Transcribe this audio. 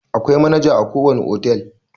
Akwai manaja a ko wane otal.